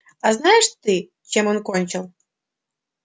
а знаешь ты чем он кончил